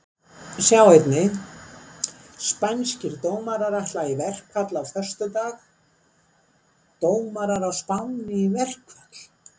Sjá einnig: Spænskir dómarar ætla í verkfall á föstudag Dómarar á Spáni í verkfall?